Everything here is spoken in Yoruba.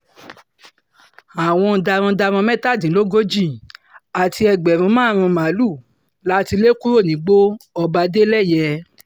àwọn darandaran mẹ́tàdínlógójì àti ẹgbẹ̀rún márùn-ún màálùú la ti lè kúrò nígbó ọba- adeleye